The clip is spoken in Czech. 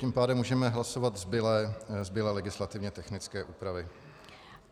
Tím pádem můžeme hlasovat zbylé legislativně technické úpravy.